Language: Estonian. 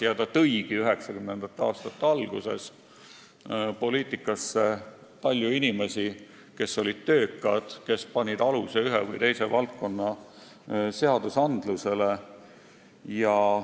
See tõigi 1990. aastate alguses poliitikasse palju inimesi, kes olid töökad ja panid aluse ühe või teise valdkonna seadustele.